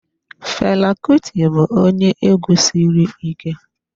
Fela Kuti bụ onye egwu sịrị ike